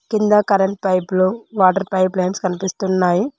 కింద కరెంట్ పైపులు water pipe lines కనిపిస్తున్నాయి.